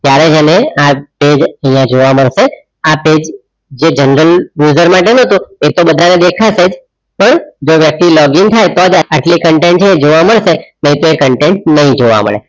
ત્યરેહ મને આ page આઇયાહ જોવા મડસે એ page જો general measurement હોય ને તો એ તો બધા ને દેખસેજ પણ જો પછી login થતાં content જોવ માડસે નઈ તો એ content જોવા નહીં મડે